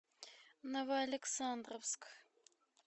новоалександровск